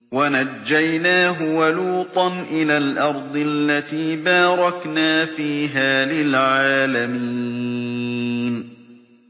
وَنَجَّيْنَاهُ وَلُوطًا إِلَى الْأَرْضِ الَّتِي بَارَكْنَا فِيهَا لِلْعَالَمِينَ